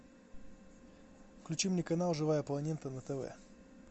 включи мне канал живая планета на тв